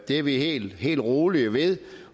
det er vi helt helt rolige ved